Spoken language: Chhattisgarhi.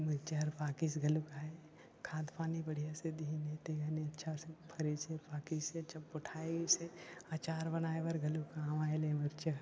मिर्चा हर पाकिस घनो काय खाद पानी बढ़िया से दिहिन हे ते हने अच्छा से फरिस हे पाकिस हे टुटाहिस हे अचार बनएले गलो काम आएल ह मिर्चा ह।